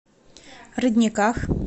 родниках